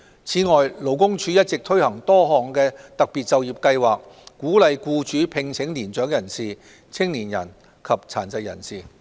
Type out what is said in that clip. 此外，勞工處一直推行多項特別就業計劃，鼓勵僱主聘請年長人士、青年人及殘疾人士。